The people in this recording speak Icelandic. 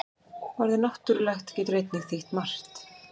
Orðið náttúrulegt getur einnig þýtt margt.